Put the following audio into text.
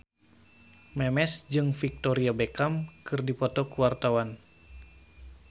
Memes jeung Victoria Beckham keur dipoto ku wartawan